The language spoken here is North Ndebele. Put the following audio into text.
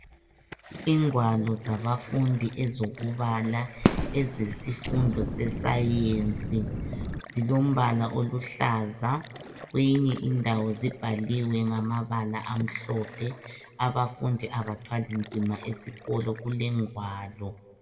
Ingwalo zabafundi ezokubala ezesifundo seScience zilombala oluhlaza kweyinye indawo zibhaliwe ngamabala amhlophe. Abafundi abathwali nzima esikolo, kulengwalo.